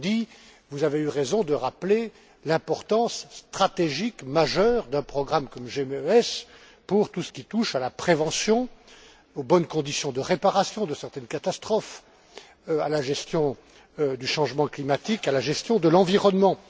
Prodi, vous avez eu raison de rappeler l'importance stratégique majeure d'un programme comme GMES pour tout ce qui touche à la prévention, aux bonnes conditions de réparations de certaines catastrophes, à la gestion du changement climatique, à la gestion de l'environnement.